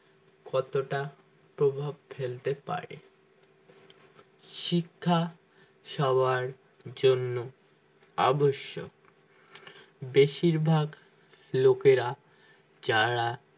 কতটা প্রভাব ফেলতে পারে শিক্ষা সবার জন্য আবশ্যক বেশিরভাগ লোকেরা যারা